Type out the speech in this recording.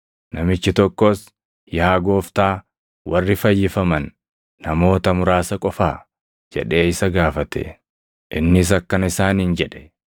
Namichi tokkos, “Yaa Gooftaa warri fayyifaman namoota muraasa qofaa?” jedhee isa gaafate. Innis akkana isaaniin jedhe;